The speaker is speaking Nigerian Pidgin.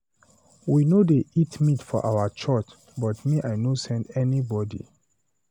We no dey eat meat for our church, but me I no send anybody.